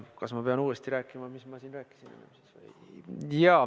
Kas ma pean uuesti rääkima, mis ma siin rääkisin?